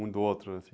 Um do outro, assim?